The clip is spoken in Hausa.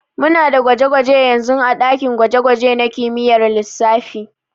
Muna da gwaje-gwaje yanzun ã dakin gwaje-gwaje nã kimiyyar lissafi.